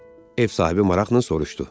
Ev sahibi maraqla soruşdu.